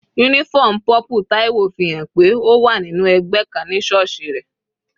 Uniform purple Taiwo fi hàn pé ó wà nínú ẹgbẹ́ kan ní sọọsi rẹ̀.